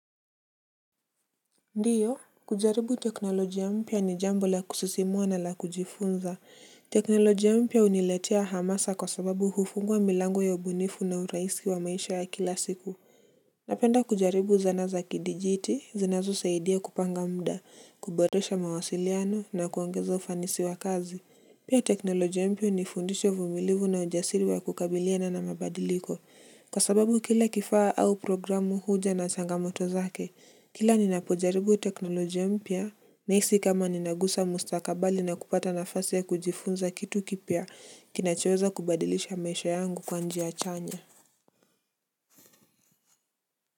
Ndiyo, kujaribu teknolojia mpya ni jambo la kusisimua na la kujifunza. Teknoloji a mpya huniletea hamasa kwa sababu hufungua milango ya ubunifu na uraisi wa maisha ya kila siku. Napenda kujaribu zana za kidijiti, zinazo saidia kupanga mda, kuboresha mawasiliano na kuongeza ufanisi wa kazi. Pia teknolojia mpa hunifundisha vumilivu na ujasiri wa kukabiliana na mabadiliko. Kwa sababu kila kifaa au programu huja na changamoto zake, kila ninapojaribu teknolojia mpya, naisi kama ninagusa mustakabali na kupata nafasi ya kujifunza kitu kipya kinachoweza kubadilisha maisha yangu kwa njia chanya.